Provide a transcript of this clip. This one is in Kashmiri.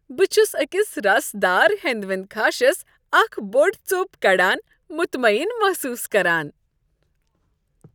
بہٕ چھس أکس رسدار ہٮ۪نٛدوٮ۪نٛد خاشس اکھ بوٚڑ ژوٚپ کڑان متمعین محصوص كران ۔